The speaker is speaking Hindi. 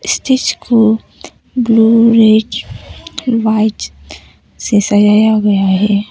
स्टेज को ब्ल्यू रेड वाइट से सजाया गया है।